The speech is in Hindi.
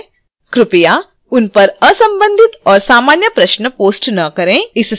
कृपया उन पर असंबंधित और सामान्य प्रश्न post न करें